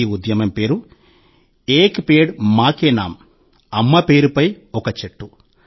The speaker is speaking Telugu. ఈ ఉద్యమం పేరు - 'ఏక్ పేడ్ మా కే నామ్' 'అమ్మ పేరుపై ఒక చెట్టు'